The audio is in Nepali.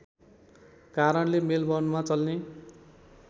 कारणले मेलबर्नमा चल्ने